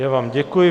Já vám děkuji.